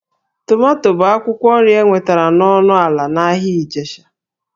Tomato bụ akwụkwọ nri enwetara ọnụ ala n'ahịa Ijesha